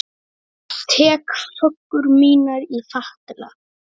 Tek föggur mínar í fatla.